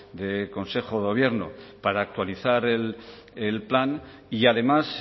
de consejo de gobierno para actualizar el plan y además